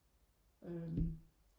øhm